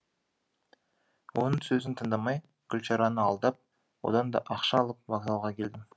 оның сөзін тыңдамай гүлшараны алдап одан да ақша алып вокзалға келдім